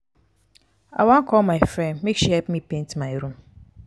i wan call my friend make she help me paint my room.